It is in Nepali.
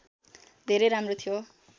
धेरै राम्रो थियो